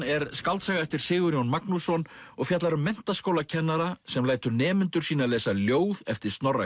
er skáldsaga eftir Sigurjón Magnússon og fjallar um menntaskólakennara sem lætur nemendur sína lesa ljóð eftir Snorra